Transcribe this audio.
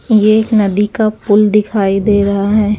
ये एक नदी का पुल दिखाई दे रहा है।